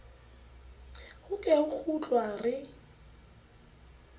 ho ke ho kgutlwa re